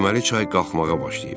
Deməli çay qalxmağa başlayıb.